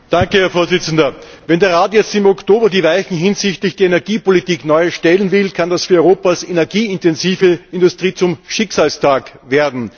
Herr Präsident! Wenn der Rat jetzt im Oktober die Weichen hinsichtlich der Energiepolitik neu stellen will, kann das für Europas energieintensive Industrie zum Schicksalstag werden.